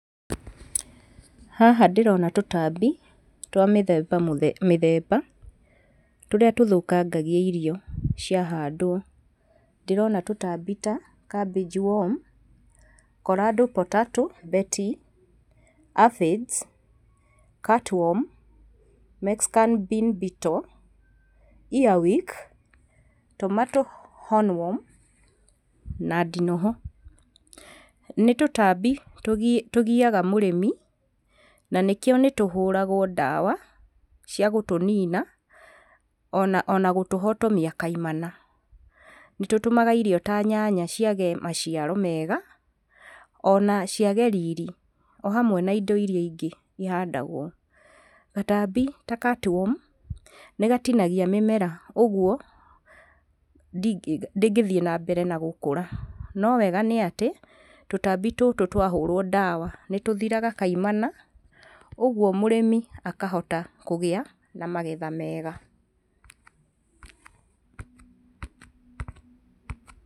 Haha ndĩrona tũtambi twa mĩthemba mĩthemba tũrĩa tũthũkangagia irio ciahandwo. Ndĩrona tũtambi ta cabbage worm, corado potato bety, aphids, catworm, mexican bean beetle, earwick, tomato hornworm na ndinoho. Nĩ tũtambi tũgiaga mũrĩmi na nĩkĩo nĩ tũhũragwo ndawa cia gũtũnina ona gũtũhotomia kaimana. Nĩ tũtũmaga irio ta nyanya ciage maciaro mega ona ciage riri, o hamwe na indo irĩa ingĩ ihandagwo. Gatambi ta catworm nĩ gatinagia mĩmera ũguo ndĩngĩthiĩ nambere na gũkũra. No wega nĩ atĩ tũtambi tũtũ twahũrwo ndawa nĩ tũthiraga kaimana, ũguo mũrĩmi akahota kũgĩa na magetha mega.